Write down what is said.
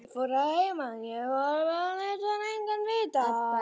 Ég fór að heiman, ég hvarf og lét engan vita.